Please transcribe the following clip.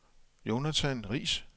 Jonathan Riis